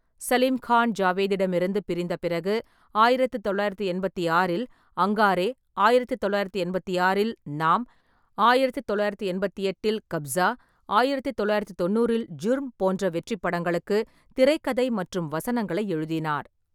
சலீம் கான் ஜாவேத்திடமிருந்து பிரிந்த பிறகு, ஆயிரத்து தொள்ளாயிரத்து எண்பத்தி ஆறில் அங்காரே, ஆயிரத்து தொள்ளாயிரத்து எண்பத்தி ஆறில் நாம், ஆயிரத்து தொள்ளாயிரத்து எண்பத்தி எட்டில் கப்ஸா, ஆயிரத்து தொள்ளாயிரத்து தொண்ணூறில் ஜுர்ம் போன்ற வெற்றிப் படங்களுக்கு திரைக்கதை மற்றும் வசனங்களை எழுதினார்.